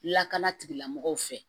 Lakana tigilamɔgɔw fɛ